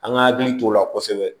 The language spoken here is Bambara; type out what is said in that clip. An ka hakili t'o la kosɛbɛ